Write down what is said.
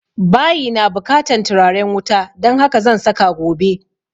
Bayi na bukatan turaren wuta don haka zan saka gobe